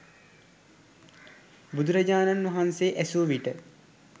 බුදුරජාණන් වහන්සෙ ඇසූවිට